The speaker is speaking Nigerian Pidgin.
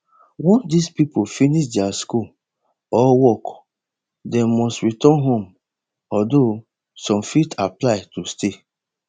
once dis pipo finish dia school or work dem must return home although some fit apply to stay